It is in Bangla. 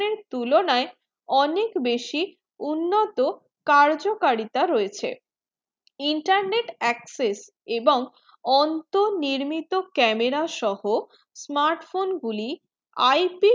তুলনা অনেক বেশি উন্নত কার্য কারিতা রয়েছে internet access এবং অন্ত নির্মিত camera সোহো smartphone গুলি IP